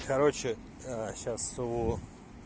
короче сейчас